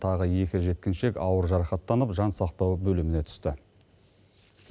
тағы екі жеткіншек ауыр жарақаттанып жансақтау бөліміне түсті